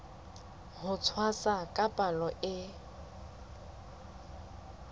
ho tshwasa ka palo e